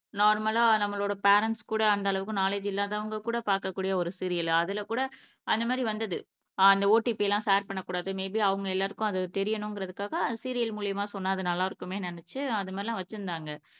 நார்மல்லா நம்மளோட பேரன்ட்ஸ் கூட அந்த அளவுக்கு நாலேஜ் இல்லாதவங்க கூட பாக்கக்கூடிய ஒரு சீரியல் அதுல கூட அந்த மாதிரி வந்தது அந்த ஓடிபி எல்லாம் ஷேர் பண்ணக் கூடாது மேபி அவங்க எல்லாருக்கும் அது தெரியனுங்குறதுக்காக அது சீரியல் மூலியமா சொன்னா அது நல்லா இருக்குமேனு நினச்சு அந்த மாதிரிலாம் வச்சுருந்தாங்க